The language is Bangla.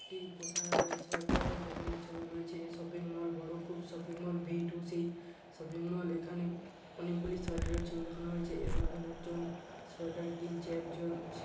একটি পোশাক সোয়েটারের দোকানের ছবি রয়েছে এ শপিংমল বড় খুব shopping mall V two C shopping mall এখানে অনেকগুলি সোয়েটার এর ছবি দেখানো হয়েছে এবং অনেকজন সোয়েটার কিনছে একজন--